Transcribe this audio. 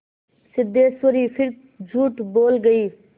सिद्धेश्वरी फिर झूठ बोल गई